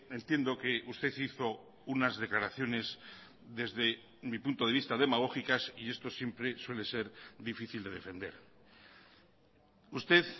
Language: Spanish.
entiendo que usted hizo unas declaraciones desde mi punto de vista demagógicas y esto siempre suele ser difícil de defender usted